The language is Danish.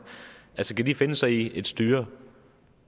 skal de finde sig i et styre